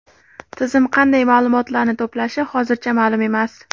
Tizim qanday ma’lumotlarni to‘plashi hozircha ma’lum emas.